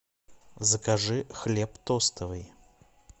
закажи хлеб тостовый